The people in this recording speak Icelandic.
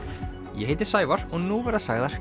ég heiti Sævar og nú verða sagðar